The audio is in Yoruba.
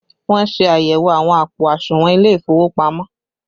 Wọn ṣe àyẹ̀wò àwọn àpò àsùnwọ̀n ilé ìfowópamọ́